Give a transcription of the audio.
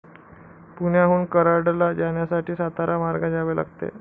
पुण्याहून कराडला जाण्यासाठी, सातारा मार्गे जावे लागते.